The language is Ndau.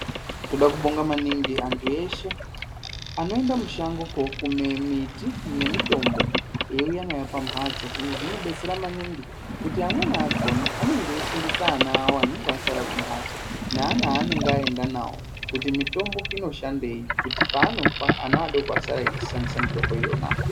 Toda kubonga maningi vantu eshe vanoenda mushango kokume miti nemutombo eiuya nayo pambatso izvi zvinodetsera maningi kuti amweni akona anenge eifundise ana awo anenge asara kumbatso naana anenge aenda navo kuti mutombo inoshandei kuti pavanofa ana adoko asare eishandisa mitombo iyona.